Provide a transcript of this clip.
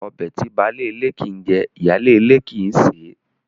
Ọbẹ̀ tí baálé ilé kii jẹ, ìyá lè ilé kii ṣe